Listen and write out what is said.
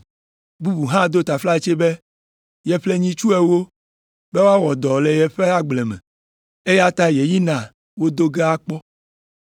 “Bubu hã do taflatse be yeƒle nyitsu ewo be woawɔ dɔ le yeƒe agble me, eya ta yeyina wo do ge akpɔ.